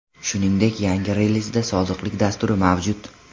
Shuningdek yangi relizda sodiqlik dasturi mavjud.